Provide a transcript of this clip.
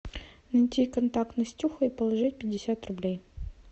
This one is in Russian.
найти контакт настюха и положить пятьдесят рублей